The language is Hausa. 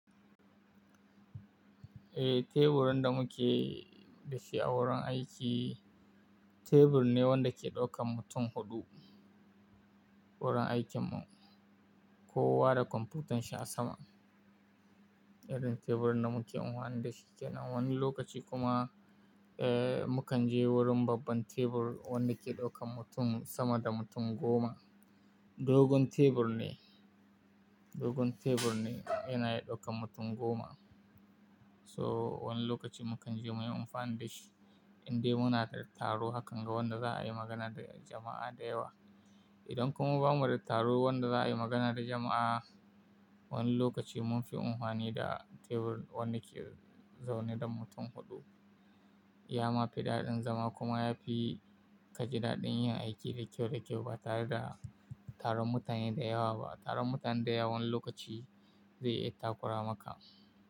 Eh, teburin da muke da shi a wurin aiki, tebur ne wanda ke ɗaukan mutum huɗu, wurin aikin mu. Kowa da kwamfutan shi a sama. Irin teburin da muke amfani da shi kenan. Wani lokaci kuma, eh, mu kan je wurin babban tebur wanda ke ɗaukan mutum sama da mutum goma. Dogon tebur ne, dogon tebur ne yana ɗaukan mutum goma. So wani lokaci mu kan je muyi munfani da shi indai muna da taro hakan ga wanda za'a yi magana da jama'a da yawa. Idan kuma ba mu da taro wanda za'a yi magana da jama'a, wani lokaci mun fi amfani da teburi wanda ke zaune dan mutum huɗu. Ya ma fi daɗin zama kuma yafi ka ji daɗin yin aiki da kyau da kyau ba tare da taron mutane da yawa ba. Taron mutane da yawa wani lokaci, zai iya takura maka.